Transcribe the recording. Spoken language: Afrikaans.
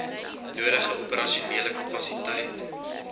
nodige operasionele kapasiteit